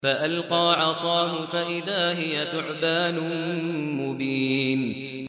فَأَلْقَىٰ عَصَاهُ فَإِذَا هِيَ ثُعْبَانٌ مُّبِينٌ